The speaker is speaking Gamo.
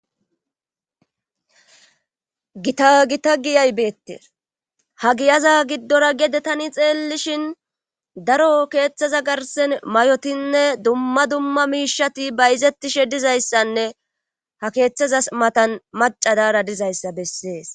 Gita gita giyay beettir ha giyaza giddora gede tani xeellishin daro keeththaza garsen may7otinne dumma dumma miishati bayzettishe dizayssanne ha keeththazas matan maca daara dizayssa bessees